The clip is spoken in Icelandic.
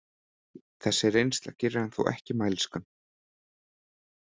Þessi reynsla gerir hann þó ekki mælskan.